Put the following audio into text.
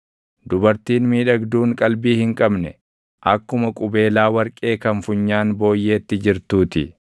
Dubartiin miidhagduun qalbii hin qabne akkuma qubeelaa warqee kan funyaan booyyeetti jirtuu ti.